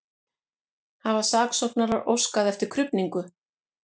Hafa saksóknarar óskað eftir krufningu